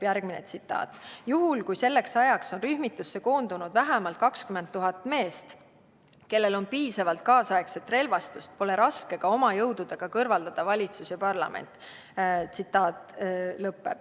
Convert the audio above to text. " Järgmine tsitaat: "Juhul, kui selleks ajaks on rühmitusse koondunud vähemalt 20 000 meest, kellel on piisavalt kaasaegset relvastust, pole raske ka oma jõududega kõrvaldada valitsus ja parlament.